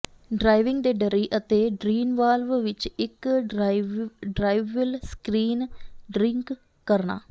driving ਦੇ ਡੱਰੀ ਅਤੇ ਡਰੀਨ ਵਾਲਵ ਵਿੱਚ ਇੱਕ ਡ੍ਰਾਇਵਵਿਲ ਸਕ੍ਰੀਨ ਡਿੰਕ ਕਰਨਾ